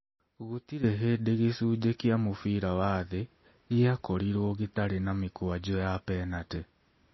Gũtirĩ hĩndĩ gĩcunjĩ kĩa mũbira wa thĩ gĩakorirũo gĩtarĩ na mĩkwanjo ya penatĩ.